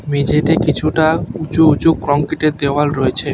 মেঝেতে কিছুটা উঁচু উঁচু কংক্রিটের দেওয়াল রয়েছে।